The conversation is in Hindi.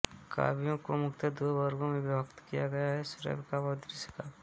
काव्य को मुख्यत दो वर्गो में विभक्त किया गया है श्रव्य काव्य और दृश्य काव्य